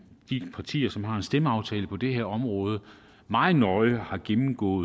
de partier som har en stemmeaftale på det her område meget nøje har gennemgået